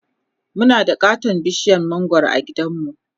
Muna da katon bishiyar mangwaro a gidanmu